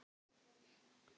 Alli fékk hvolp.